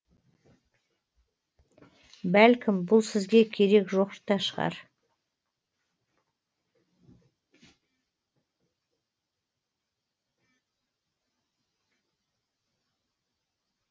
бәлкім бұл сізге керек жоқ та шығар